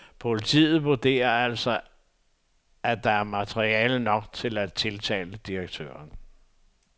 Politiet vurderer altså, at der er materiale nok til at tiltale direktøren.